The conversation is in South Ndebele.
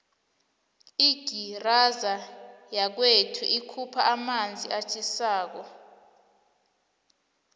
igizara yakwethu ikhupha amanzi atjhisako